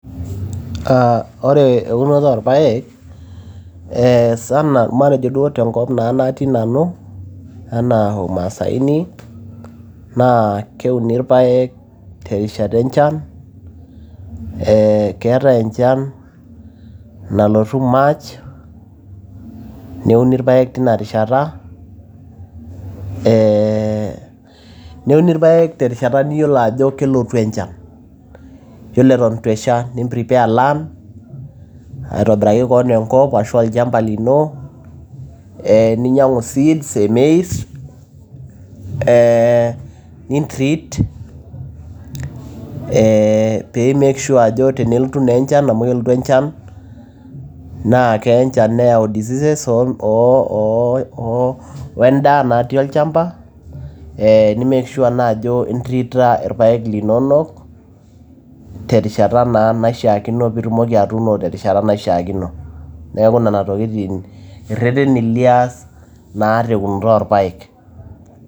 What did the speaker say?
Ah ore eunoto orpaek, eh sana matejo duo tenkop natii nanu, enaa umasaini, naa keuni irpaek terishata enchan, eh keetae enchan nalotu March, neuni irpaek tinarishata, eh neuni irpaek terishata niyiolo ajo kelotu enchan. Yiolo eton eitu esha, ni prepare land ,aitobiraki keon enkop arashu olchamba lino, eh ninyang'u seeds e maize. Eh nintrit eh pi make sure ajo tenelotu naa enchan amu kelotu enchan, na keya enchan neyau diseases o endaa natii olchamba, eh ni make sure naa ajo intrita irpaek linonok, terishata naa naishaakino pitumoki atuuno terishata naishaakino. Neeku nena tokiting' irrerreni lias naa teunoto orpaek.